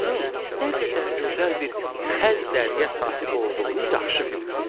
Onun nə qədər gözəl bir xəz dəriyə sahib olduğunu yaxşı bilirsən.